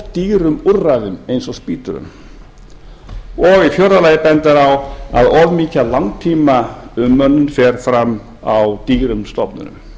dýrum úrræðum eins og spítölum fjórða þá bendir o e c d á að of mikið af langtímaumönnun fer fram á dýrum stofnunum